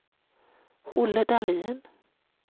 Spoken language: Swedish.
Olle Dahlin